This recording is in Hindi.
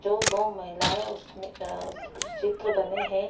जो दो महिलाएं उस में अ उस चित्र बने हैं।